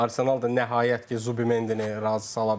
Arsenal da nəhayət ki, Zubi Mendini razı sala bildi.